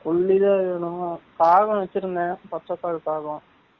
புல்லி தான் வேனும், காகம் வச்சு இருந்தேன் பச்சை கால் காகம்